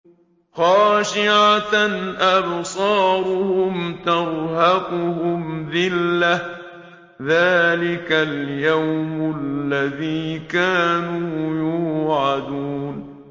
خَاشِعَةً أَبْصَارُهُمْ تَرْهَقُهُمْ ذِلَّةٌ ۚ ذَٰلِكَ الْيَوْمُ الَّذِي كَانُوا يُوعَدُونَ